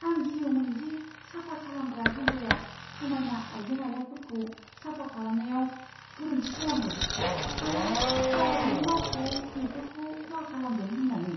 आं गियोमोन दि साफा खालामग्रा हानजाया समायना आइजें आइलाफोरखौ साफा खालामनायाव गोरोन्थि खालामगोन आरो ग्नाहगनि मावख'आव बेफोरखौ खहा खालामगोन होन्नानै।